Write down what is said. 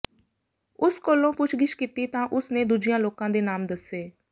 ਉਸ ਕੋਲੋਂ ਪੁੱਛਗਿੱਛ ਕੀਤੀ ਤਾਂ ਉਸ ਨੇ ਦੂਜਿਆਂ ਲੋਕਾਂ ਦੇ ਨਾਮ ਦੱਸੇ